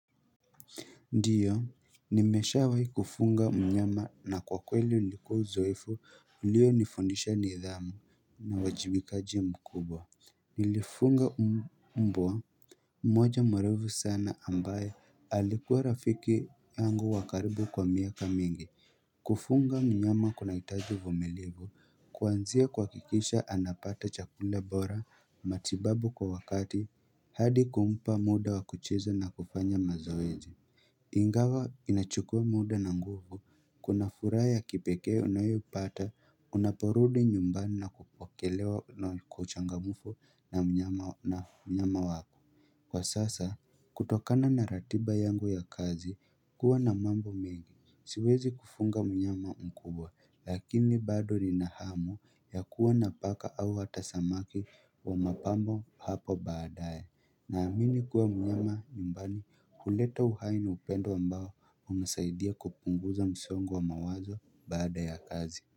Ndiyo nimesha wahi kufunga mnyama na kwa kweli ulikua uzoefu ulio nifundisha ni idhamu na wajibikaji mkubwa Nilifunga umbwa mmoja mwerevu sana ambaye alikuwa rafiki yangu wa karibu kwa miaka mingi kufunga mnyama kuna itaji uvumilivu kuanzia kuhakikisha anapata chakula bora matibabu kwa wakati hadi kumupa muda wakucheza na kufanya mazoezi Ingawa inachukua muda na nguvu kuna furaha ya kipeke unayoipata unaporudi nyumbani na kupokelewa na kuchangamufu na mnyama mnyama wako Kwa sasa kutokana na ratiba yangu ya kazi kuwa na mambo mingi siwezi kufunga mnyama mkubwa lakini bado ni nahamu ya kuwa napaka au hatasamaki wa mapambo hapo baadae na amini kuwa mnyama nyumbani huleta uhaini na upendo ambao hunisaidia kupunguza msongo wa mawazo baada ya kazi.